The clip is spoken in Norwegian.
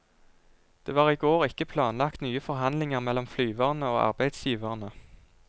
Det var i går ikke planlagt nye forhandlinger mellom flyverne og arbeidsgiverne.